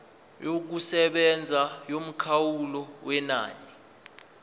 yokusebenza yomkhawulo wenani